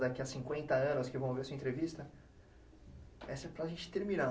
Daqui a cinquenta anos que vão ver a sua entrevista, essa é para a gente terminar.